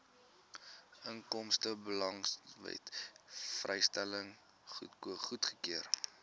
inkomstebelastingwet vrystelling goedgekeur